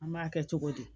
An b'a kɛ cogo di